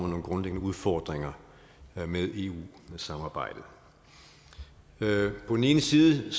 nogle grundlæggende udfordringer med eu samarbejdet på den ene side